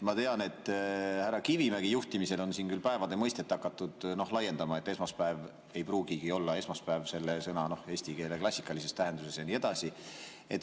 Ma tean, et härra Kivimägi juhtimisel on siin päeva mõistet hakatud laiendama, esmaspäev ei pruugigi olla esmaspäev selle sõna klassikalises eestikeelses tähenduses ja nii edasi.